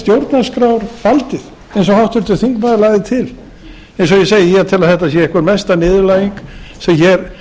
eins og háttvirtur þingmaður lagði til eins og ég segi ég tel að þetta sé einhver mesta niðurlæging sem hefur